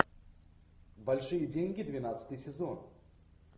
большие деньги двенадцатый сезон